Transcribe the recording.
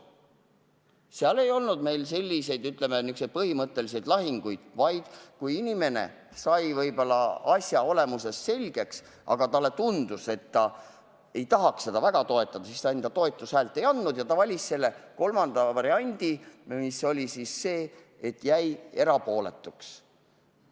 Meil ei olnud selliseid põhimõttelisi lahinguid, vaid kui inimene sai asja olemuse selgeks, aga talle tundus, et ta ei tahaks seda väga toetada, siis ta toetushäält ei andnud ja valis kolmanda variandi, milleks oli see, et ta jäi erapooletuks.